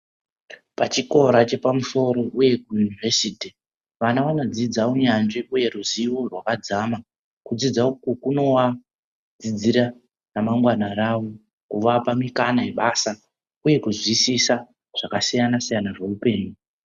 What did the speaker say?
Pachikora chepamusoro uye kuyunivhesiti, vana vanodzidza unyanzvi uye ruzivo rwakadzama, kudzidza uku kunowadzidzira ramangwani ravo, kuvapa mikana yebasa, uye kuzwisisa zvakasiyana-siyana zveupenyu.